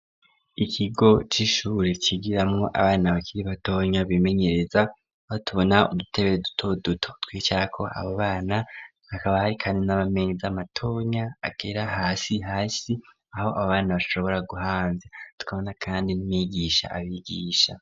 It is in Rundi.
Ikigo c'ishure cigiramo abana bakiri batonya bimenyereza aho tubona udutebe duto duto, tw'icyako aba bana akaba hari kandi n'amameza matonya agera hasi hasi aho abo bana bashobora guhamvya tukabona kandi n'umwigisha abigisha.